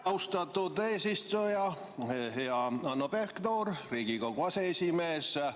Austatud eesistuja, hea Hanno Pevkur, Riigikogu aseesimees!